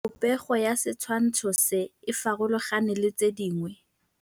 Popêgo ya setshwantshô se, e farologane le tse dingwe.